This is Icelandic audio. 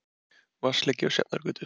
Vatnsleki á Sjafnargötu